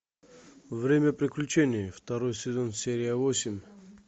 время приключений второй сезон серия восемь